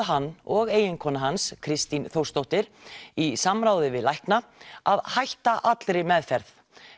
hann og eiginkona hans Kristín Þórsdóttur í samráði við lækna að hætta allri meðferð